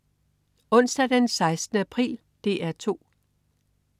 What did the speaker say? Onsdag den 16. april - DR 2: